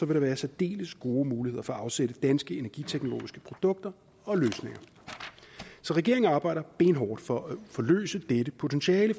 der være særdeles gode muligheder for at afsætte danske energiteknologiske produkter og løsninger så regeringen arbejder benhårdt for at forløse dette potentiale